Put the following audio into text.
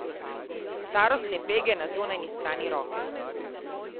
Starostne pege na zunanji strani roke.